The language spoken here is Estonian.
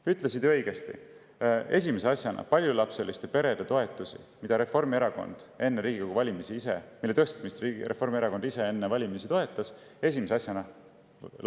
Sa ütlesid õigesti, et esimese asjana langetati paljulapseliste perede toetusi, mille tõstmist Reformierakond ise enne Riigikogu valimisi toetas.